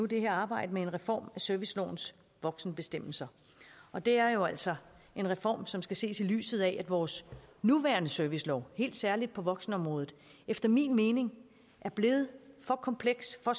det her arbejde med en reform af servicelovens voksenbestemmelser og det er jo altså en reform som skal ses i lyset af at vores nuværende servicelov helt særligt på voksenområdet efter min mening er blevet for kompleks og